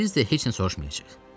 Biz də heç nə soruşmayacağıq.